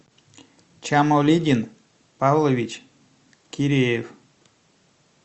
чамолигин павлович киреев